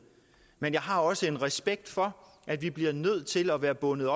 men jeg har også respekt for at vi bliver nødt til at være bundet